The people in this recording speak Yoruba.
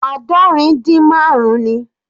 Aadọrin din marun ni.